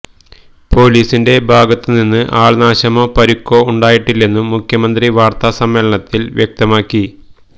പൊലീസിന്റെ ഭാഗത്ത് നിന്ന് ആള്നാശമോ പരുക്കോ ഉണ്ടായിട്ടില്ലെന്നും മുഖ്യമന്ത്രി വാര്ത്താ സമ്മേളനത്തില് വ്യക്തമാക്കി